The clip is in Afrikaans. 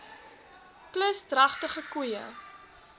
plus dragtige koeie